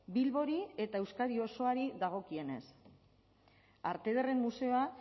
bilbori eta euskadi osoari dagokienez arte ederren museoa